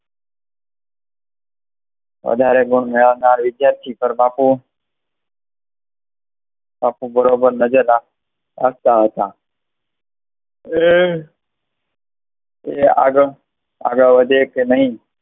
વધારે ગુણ મેળવવા વિદ્યાર્થી પણ બાપુ બાપુ બરોબર નજર આપતા હતા એ આગળ વધે કે નહિ